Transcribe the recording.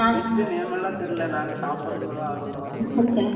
Fish name எல்லாம் தெரியலே. நாங்க சாப்பிடுறதுலதான், ஆர்வமா இருக்கோம்